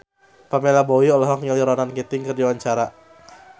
Pamela Bowie olohok ningali Ronan Keating keur diwawancara